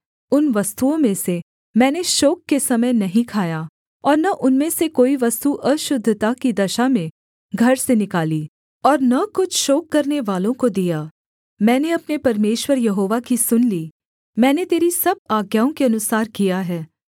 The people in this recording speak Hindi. उन वस्तुओं में से मैंने शोक के समय नहीं खाया और न उनमें से कोई वस्तु अशुद्धता की दशा में घर से निकाली और न कुछ शोक करनेवालों को दिया मैंने अपने परमेश्वर यहोवा की सुन ली मैंने तेरी सब आज्ञाओं के अनुसार किया है